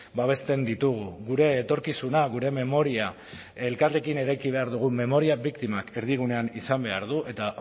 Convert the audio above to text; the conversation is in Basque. babesten ditugu gure etorkizuna gure memoria elkarrekin eraiki behar dugu memoria biktimak erdigunean izan behar ditu eta